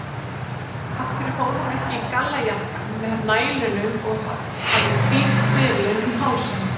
Af hverju fór hún ekki í gallajakkann með nælunum og hafði hvíta trefilinn um hálsinn?